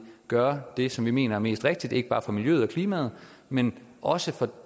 gøre det som vi mener er mest rigtigt ikke bare for miljøet og klimaet men også for